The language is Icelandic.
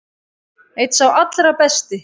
Einn sá allra besti.